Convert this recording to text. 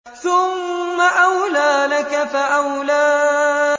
ثُمَّ أَوْلَىٰ لَكَ فَأَوْلَىٰ